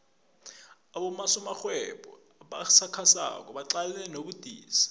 abosomarhwebo abasakhasako baqalene nobudisi